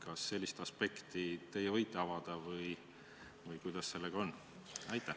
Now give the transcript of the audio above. Kas te sellist aspekti võite avada või kuidas sellega on?